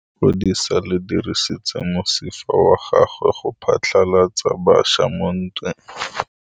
Lepodisa le dirisitse mosifa wa gagwe go phatlalatsa batšha mo ntweng.